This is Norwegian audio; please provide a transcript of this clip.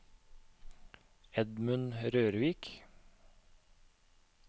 Edmund Rørvik